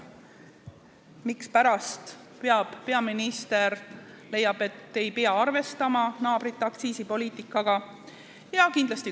Mispärast leiab peaminister, et ei pea arvestama naabrite aktsiisipoliitikaga?